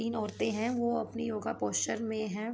तीन औरते है वो अपनी योग पोस्चर में है।